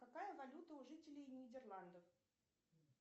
какая валюта у жителей нидерландов